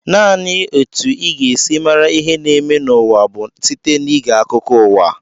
Naanị etu ị ga-esi mara ihe na-eme n'ụwa bụ site n'ige akụkọ uwa